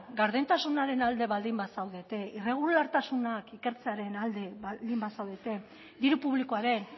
gardentasunaren alde baldin bazaudete irregulartasunak ikertzearen alde baldin bazaudete diru publikoaren